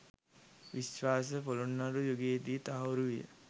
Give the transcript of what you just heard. විශ්වාසය පොළොන්නරු යුගයේ දී තහවුරු විය.